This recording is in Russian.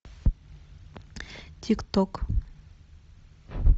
тик ток